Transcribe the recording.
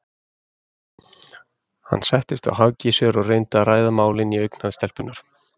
Hann settist á hækjur sér og reyndi að ræða málin í augnhæð stelpunnar.